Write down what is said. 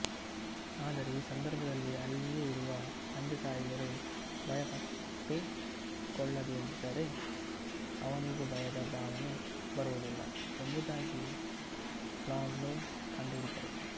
ಆದರೆ ಆ ಸಂದರ್ಭದಲ್ಲಿ ಅಲ್ಲಿಯೇ ಇರುವ ತಂದೆತಾಯಿಯರು ಭಯ ಪಟ್ಟುಕೊಳ್ಳದಿದ್ದರೆ ಅವನಿಗೂ ಭಯದ ಭಾವನೆ ಬರುವುದಿಲ್ಲ ಎಂಬುದಾಗಿ ಪಾವ್ಲೋವ್ ಕಂಡುಹಿಡಿದರು